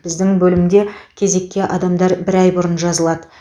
біздің бөлімде кезекке адамдар бір ай бұрын жазылады